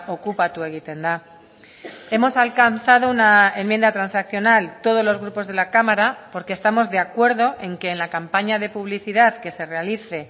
okupatu egiten da hemos alcanzado una enmienda transaccional todos los grupos de la cámara porque estamos de acuerdo en que en la campaña de publicidad que se realice